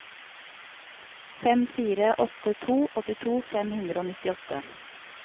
fem fire åtte to åttito fem hundre og nittiåtte